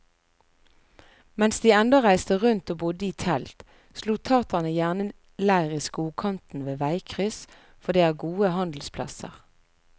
Mens de ennå reiste rundt og bodde i telt, slo taterne gjerne leir i skogkanten ved veikryss, for det er gode handelsplasser.